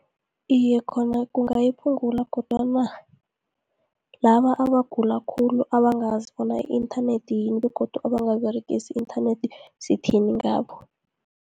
Iye khona kungayiphungula, kodwana laba abagula khulu abangazi bona i-inthanethi yini, begodu bangaberegisi inthanethi sithini ngabo.